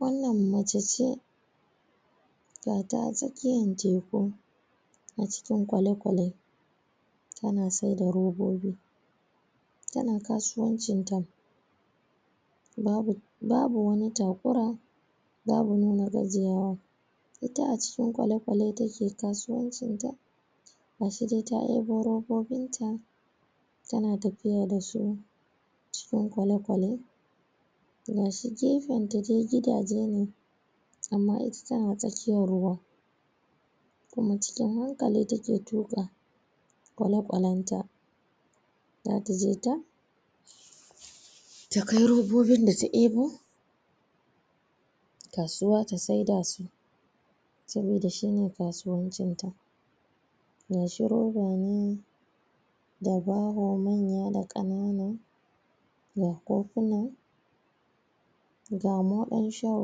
wannan mace ce gata a tsakiyan teko a cikin ƙwaleƙwale tana saida robobi tana kasuwancin ta babu babu wani takura babu nuna gajiyawa ita a cikin ƙwaleƙwale take kasuwancin ta gashi dai ta debo robobin ta tana tafiya da su cikin ƙwaleƙwale gashi gefenta dai gidaje ne amma ita tana tsakiyan ruwa kuma cikin hankali take tuka ƙwaleƙwalen ta zata je ta ta kai robobin da ta abo kasuwa ta saida su saboda shine kasuwancin ta gashi roba ne da baho manya da ƙanana ga kofuna ga moɗan shan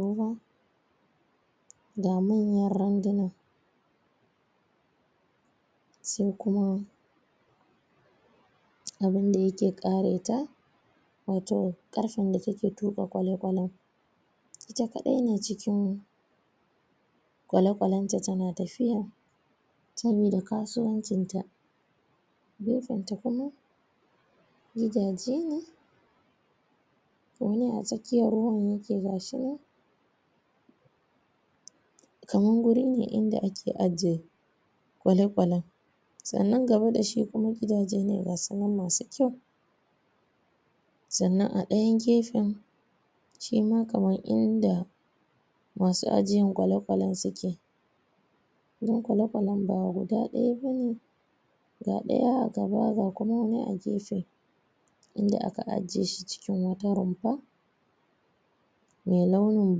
ruwa ga manyan randuna sai kuma abin da yake kare ta wato ƙarfen da take tuka ƙwaleƙwalen ita kadai ne cikin ƙwaleƙwalen ta tana tafiya sabida kasuwancin ta gefen ta kuma gidaje ne wani a tsakiyan ruwan yake gashi nan kaman guri ne inda ake ajje ƙwaleƙwalen sannan gaba da shi kuma gidaje ne gasu nan masu kyau sannan a dayan gefen shima kaman inda masu ajiyan ƙwaleƙwalen suke dan ƙwaleƙwalen ba guda daya bane ga daya a gaba ga kuma wani a gefe inda ake ajjeshi cikin wata rumfa mai launin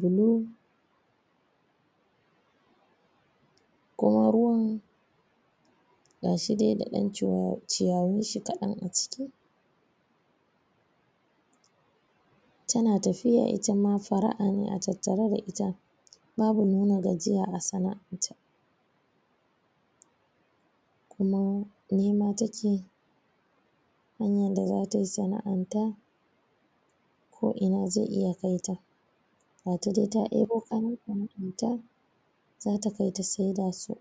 blue kuma ruwan gashi dai da dan cuwa ciyawun shi kadan a ciki tana tafiya itama fara'a ne a tattare da ita babu nuna gajiya a sana'an ta kuma nema take hanyan da zatayi sana'an ta ko ina zai iya kai ta ga ta dai ta abo kayan sana'an ta zata kai ta saida su